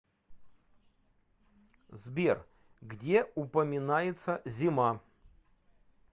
сбер где упоминается зима